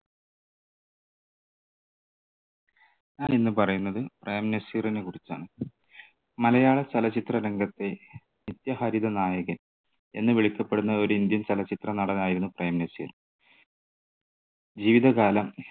ഞാൻ ഇന്ന് പറയുന്നത് പ്രേം നസീറിനെ കുറിച്ചാണ്. മലയാളചലച്ചിത്ര രംഗത്തെ നിത്യഹരിതനായകൻ എന്ന് വിളിക്കപ്പെടുന്ന ഒരു indian ചലച്ചിത്രനടനായിരുന്നു പ്രേംനസീർ. ജീവിതകാലം